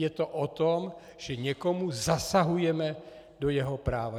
Je to o tom, že někomu zasahujeme do jeho práva.